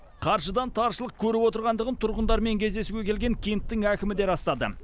қаржыдан таршылық көріп отырғандығын тұрғындармен кездесуге келген кенттің әкімі де растады